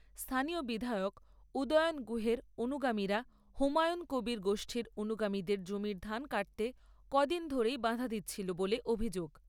স্থানীয় বিধায়ক উদয়ন গুহের অনুগামীরা হুমায়ুন কবীর গোষ্ঠীর অনুগামীদের জমির ধান কাটতে কদিন ধরেই বাধা দিচ্ছিল বলে অভিযোগ।